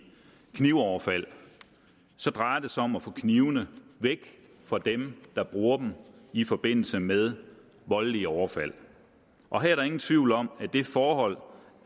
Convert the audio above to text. knivoverfald så drejer det sig om at få knivene væk fra dem der bruger dem i forbindelse med voldelige overfald og her er der ingen tvivl om at det forhold